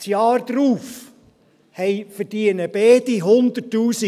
Im darauffolgenden Jahr verdienen beide 100’000 Franken mehr.